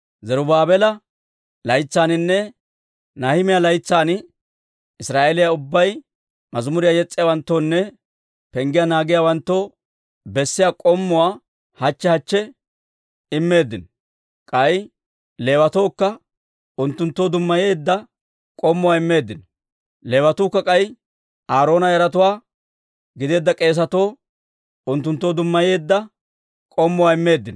Zarubaabeela laytsaaninne Nahimiyaa laytsan Israa'eeliyaa ubbay mazimuriyaa yes's'iyaawanttoonne penggiyaa naagiyaawanttoo bessiyaa k'ommuwaa hachche hachche immeeddino; k'ay Leewatookka unttunttoo dummayeedda k'ommuwaa immeeddino. Leewatuukka k'ay Aaroona yaratuwaa gideedda k'eesatoo unttunttoo dummayeedda k'ommuwaa immeeddino.